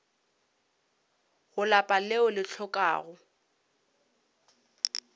go lapa leo le hlokago